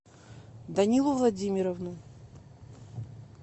данилу владимировну